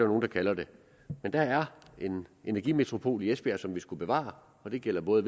nogle der kalder det men der er en energimetropol i esbjerg som vi skal bevare og det gælder både